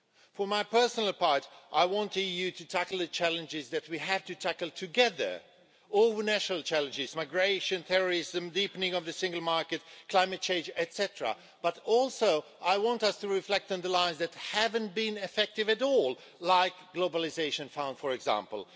For my part, I want the EU to tackle the challenges that we have to tackle together all the national challenges migration, terrorism, the deepening of the single market, climate change, etc. But I also I want us to reflect on the lines that haven't been effective at all like the Globalisation Fund, for example.